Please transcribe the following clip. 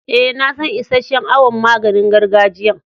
Eh, na san isheshe'n awon maganin gargajiyan.